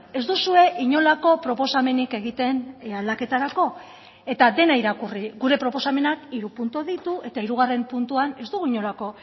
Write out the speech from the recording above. ez duzue inolako proposamenik egiten aldaketarako eta dena irakurri gure proposamenak hiru puntu ditu eta hirugarren puntuan ez dugu inolako